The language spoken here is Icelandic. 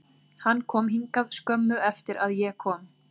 Hann kom hingað skömmu eftir að ég kom,